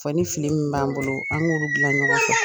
Fɔ ni fili min b'an bolo, an ŋ'olu dilan ɲɔgɔn fɛ.